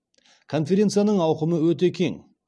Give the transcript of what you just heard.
конференцияның ауқымы өте кең